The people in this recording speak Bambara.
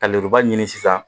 Ka lenburuba ɲini sisan